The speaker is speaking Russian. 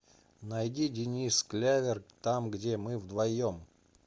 найди денис клявер там где мы вдвоем